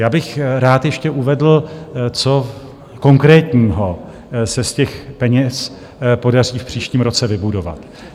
Já bych rád ještě uvedl, co konkrétního se z těch peněz podaří v příštím roce vybudovat.